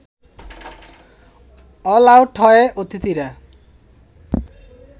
all out হয় অতিথিরা